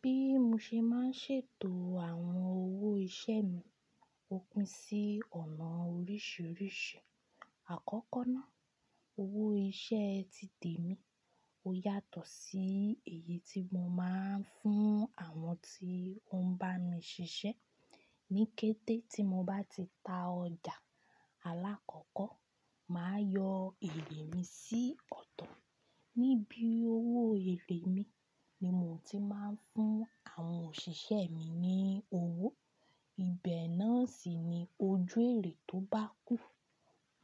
Bí mo ṣe máa ń ṣètò àwọn owó iṣẹ́ mi, ó pín sí ọ̀nà oríṣìíríṣìí. Àkọ́kọ́ nà, owó iṣẹ́ ti tèmi ó yàtọ̀ sí èyí tí mo máa ń fún àwọn tí ó ń bá mi ṣiṣẹ́. Níkẹ́tẹ́ tí mo bá ti ta ọjà alákọ́kọ́, màá yọ èré mi sí ọ̀tọ̀. Nibi owó èré mi ni mo ti máa ń fún àwọn òṣìṣẹ́ mi ní owó. Ibẹ̀ náà sì ni ojú èré tó bá kù,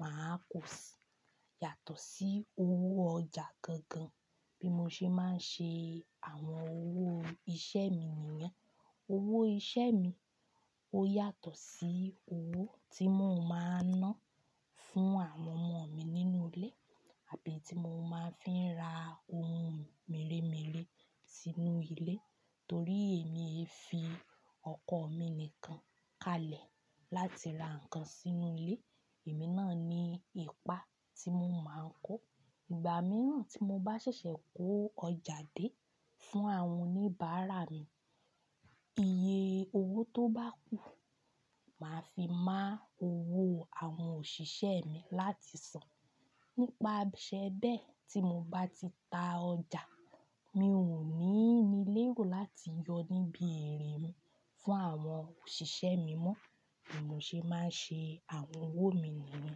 màá kò si, yàtọ̀ sí owó ọjà gangan bí mo ṣe máa ń ṣe àwọn owó iṣẹ́ mi nìyẹn. Owó iṣẹ́ mi ó yàtọ̀ sí owó tí mo máa ń ná fún àwọn ọmọ mi nínú ilé àbí tí mo máa fi ra ohun mèremère sínú ilé. Torí èmi e fi ọkọ̀ mi nìkan kalẹ̀ láti ra nǹkan sínú ilé, èmi náà ni ipa tí mo máa ń kó. Ìgbà mìíràn tí mo bá ṣẹ̀ṣẹ̀ kó ọjà dé fún àwọn oníbàárà mi, iye owó tó bá kù, màá fi má owó àwọn òṣìṣẹ́ mi láti san. Nípasẹ̀ bẹ́ẹ̀ tí mo bá ti ta ọjà, mi ò ní ní lérò láti yọ níbi èrè mi fún àwọn òṣìṣẹ́ mi mọ́ ní mo ṣe máa ń ṣe àwọn owó mi nìyẹn.